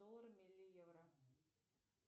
долларами или евро